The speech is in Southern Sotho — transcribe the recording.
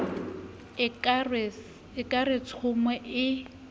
o ka re tshomo ee